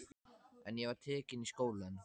En ég var tekin í skólann.